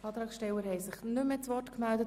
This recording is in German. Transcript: Die Antragsteller wünschen das Wort nicht mehr.